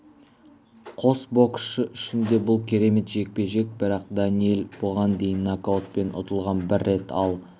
қос боксшы үшін де бұл керемет жекпе-жек бірақ дэниел бұған дейін нокаутпен ұтылған бір рет ал